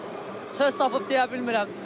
Çox söz tapıb deyə bilmirəm.